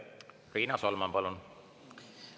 Riina Solman, palun!